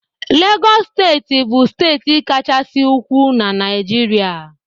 Legọs steeti bụ steeti Kachasị ukwuu na Naịjirịa.